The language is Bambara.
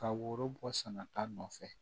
Ka woro bɔ sɛnɛ ta nɔfɛ